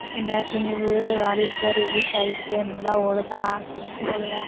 என்ன துணிவு வாரிசுலாம் release ஆயிருக்கு நல்லா ஓடுதா போகலயா